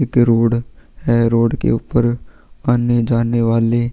एक रोड है रोड के ऊपर आने जाने वाले --